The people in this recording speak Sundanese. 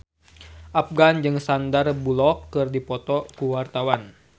Afgan jeung Sandar Bullock keur dipoto ku wartawan